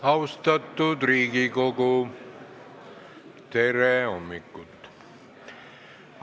Austatud Riigikogu, tere hommikust!